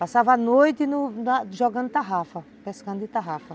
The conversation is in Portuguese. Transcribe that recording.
Passava a noite no... jogando tarrafa, pescando de tarrafa.